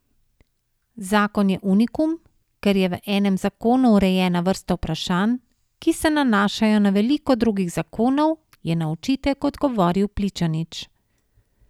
Zakon je unikum, ker je v enem zakonu urejena vrsta vprašanj, ki se nanašajo na veliko drugih zakonov, je na očitek odgovoril Pličanič.